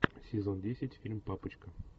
сезон десять фильм папочка